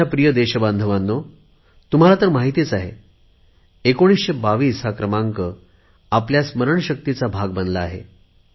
माझ्या प्रिय देशबांधवांनो तुम्हाला तर माहित आहे एकोणीसशे बावीस हा क्रमांक आपल्या स्मरणशक्तीचा भाग बनला आहे